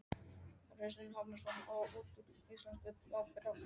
Kristinn Hrafnsson: Og út úr íslenskri ábyrgð á fimm dögum?